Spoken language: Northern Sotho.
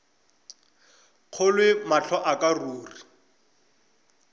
kgolwe mahlo a ka ruri